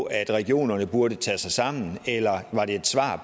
at regionerne burde tage sig sammen eller var det et svar